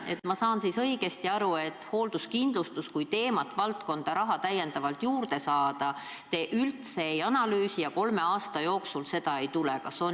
Kas ma saan õigesti aru, et seda, kas hoolduskindlustuseks raha täiendavalt eraldada, te üldse ei analüüsi ja kolme aasta jooksul seda ei tule?